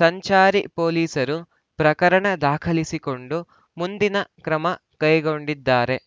ಸಂಚಾರಿ ಪೊಲಿಸರು ಪ್ರಕರಣ ದಾಖಲಿಸಿಕೊಂಡು ಮುಂದಿನ ಕ್ರಮ ಕೈಗೊಂಡಿದ್ದಾರೆ